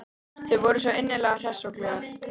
Þau voru svo innilega hress og glöð.